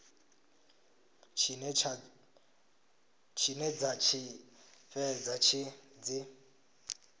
tshine dza tshi fhedza dzi